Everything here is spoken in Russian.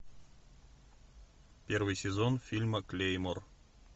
первый сезон фильма клеймор